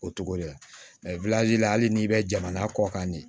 O cogo de la hali n'i bɛ jamana kɔ kan de